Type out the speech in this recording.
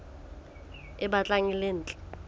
e batlang e le ntle